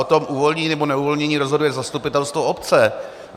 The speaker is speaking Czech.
O tom uvolnění nebo neuvolnění rozhoduje zastupitelstvo obce.